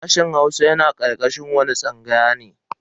Sashen Hausa yana karkashin wani tsangaya ne?